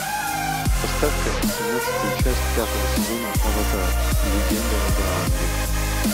поставь ка семнадцатую часть пятого сезона аватар легенда об аанге